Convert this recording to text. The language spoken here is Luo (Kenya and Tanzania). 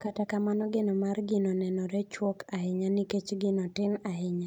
Kata kamano geno mar gino nenore chuok ahinya nikech gino tin ahinya.